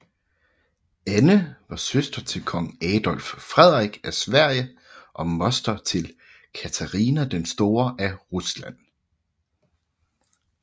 Anne var søster til kong Adolf Frederik af Sverige og moster til Katarina den Store af Rusland